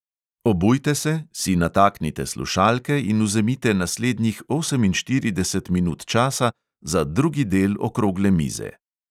Obujte se, si nataknite slušalke in vzemite naslednjih oseminštirideset minut časa za drugi del okrogle mize.